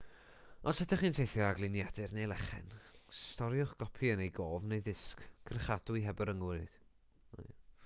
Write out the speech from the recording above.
os ydych chi'n teithio â gliniadur neu lechen storiwch gopi yn ei gof neu ddisg cyrchadwy heb y rhyngrwyd